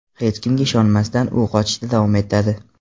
Hech kimga ishonmasdan u qochishda davom etadi.